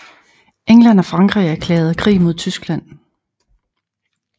England og Frankrig erklærede krig mod Tyskland